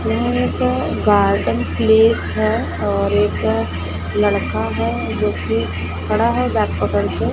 यह एक garden place है और एक लड़का है जोकि खड़ा है बैग पकड़ के--